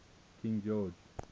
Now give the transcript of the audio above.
king george